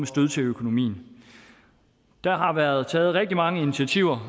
stød til økonomien der har været taget rigtig mange initiativer